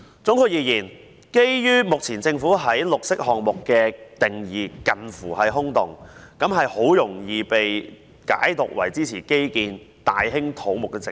總括而言，目前政府對"綠色項目"沒有明確定義，很容易被解讀為支持基建、大興土木的藉口。